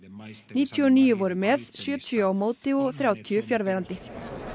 níutíu og níu voru með sjötíu á móti og þrjátíu fjarverandi